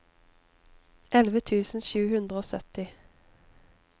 elleve tusen sju hundre og sytti